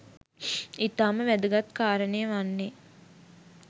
ඉතාම වැදගත් කාරණය වන්නේ